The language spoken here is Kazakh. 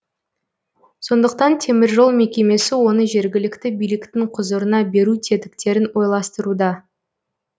сондықтан теміржол мекемесі оны жергілікті биліктің құзырына беру тетіктерін ойластыруда